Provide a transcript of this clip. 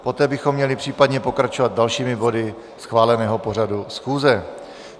Poté bychom měli případně pokračovat dalšími body schváleného pořadu schůze.